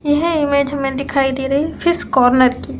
यह इमेज हमें दिखाई दे रही फिस कॉर्नर की --